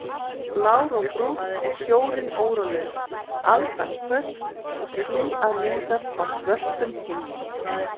Blár og Brúnn og sjórinn órólegur, aldan hvöss og ský að myndast á svörtum himninum.